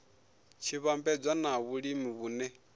tshi vhambedzwa na vhulimi vhune